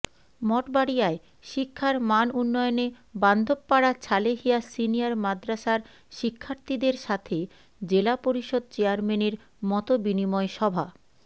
মঠবাড়িয়ায় শিক্ষার মানউন্নয়নে বান্ধবপাড়া ছালেহিয়া সিনিয়র মাদ্রাসার শিক্ষার্থীদের সাথে জেলা পরিষদ চেয়ারম্যানের মতবিনিময় সভা